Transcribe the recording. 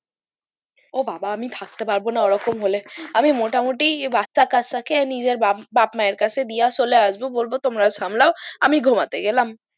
ও বাবা আমি থাকতে পারবো না ওই রকম হলে আমি মোটা মুটি বাচ্চা কাচ্চা কে নিজের বাপ মায়ের কাছে চলে এসব আমি ঘুমোতে গেলাম